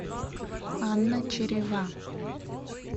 анна черева